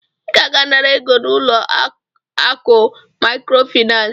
I ga-aga nara ego n'ulo akụ Maịkrofịnansị.